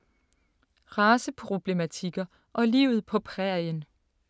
Raceproblematikker og livet på prærien